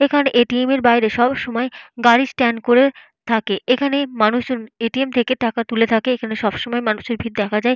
এখানে এ.টি.এম. এর বাইরে সব সময় গাড়ির স্ট্যান্ড করে থাকে। এখানে মানুষের এ.টি.এম. থেকে টাকা তুলে থাকে। এখানে সব সময় মানুষের ভিড় দেখা যায়।